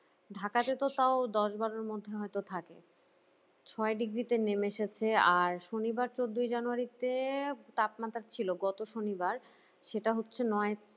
ঢাকাতে তো তাও দশ বারোর এর মধ্যে হয়ত থাকে ছয় degree তে নেমেছে হচ্ছে আর শনিবার চৌদ্দই january তে তাপমাত্রা ছিল গত শনিবার সেটা হচ্ছে